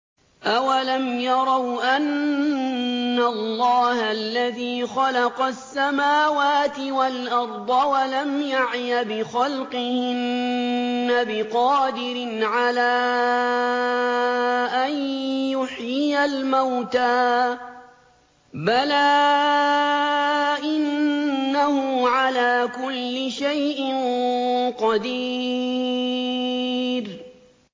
أَوَلَمْ يَرَوْا أَنَّ اللَّهَ الَّذِي خَلَقَ السَّمَاوَاتِ وَالْأَرْضَ وَلَمْ يَعْيَ بِخَلْقِهِنَّ بِقَادِرٍ عَلَىٰ أَن يُحْيِيَ الْمَوْتَىٰ ۚ بَلَىٰ إِنَّهُ عَلَىٰ كُلِّ شَيْءٍ قَدِيرٌ